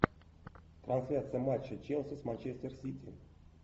трансляция матча челси с манчестер сити